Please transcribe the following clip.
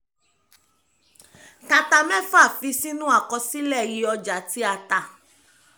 ta ta mẹ́fà fi sínú àkọsílẹ̀ iye ọjà tí a tà